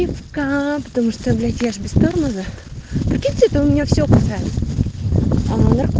потому что блять я без тормозов в принципе у меня все подряд